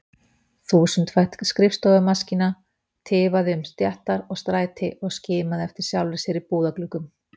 Þúsundfætt skrifstofumaskína tifaði um stéttar og stræti og skimaði eftir sjálfri sér í búðargluggum.